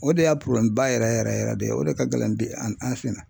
O de y'a ba yɛrɛ yɛrɛ yɛrɛ de ye o de ka gɛlɛn bi an fɛ yan